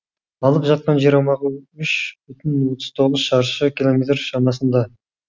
алып жатқан жер аумағы үш бүтін отыз тоғыз шаршы километр шамасында